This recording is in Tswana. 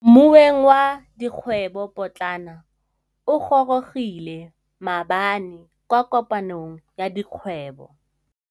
Moêng wa dikgwêbô pôtlana o gorogile maabane kwa kopanong ya dikgwêbô.